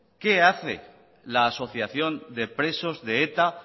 qué hace la asociación de presos de eta